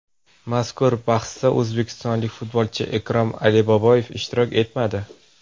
Mazkur bahsda o‘zbekistonlik futbolchi Ikrom Aliboyev ishtirok etmadi.